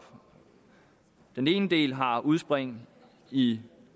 den ene del har udspring i